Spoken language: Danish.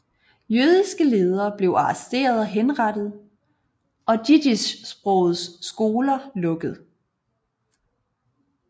Jødiske ledere blev arresteret og henrettet og jiddischsprogede skoler lukket